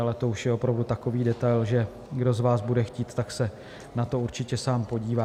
Ale to už je opravdu takový detail, že kdo z vás bude chtít, tak se na to určitě sám podívá.